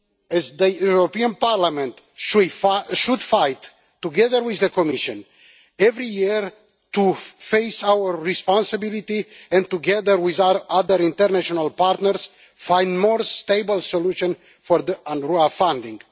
as the European Parliament should fight, together with the Commission, every year to face our responsibility and, together with our other international partners, find a more stable solution for UNRWA funding.